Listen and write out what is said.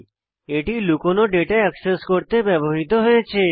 এটি লুকানো data access করতে ব্যবহৃত হয়েছে